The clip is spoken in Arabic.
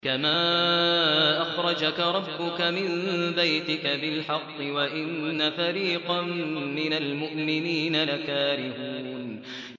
كَمَا أَخْرَجَكَ رَبُّكَ مِن بَيْتِكَ بِالْحَقِّ وَإِنَّ فَرِيقًا مِّنَ الْمُؤْمِنِينَ لَكَارِهُونَ